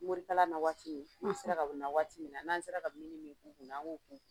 Morikalan na waati min n'u sera ka na waati min na n'an sera ka mini min k'u kunna an b'o k'u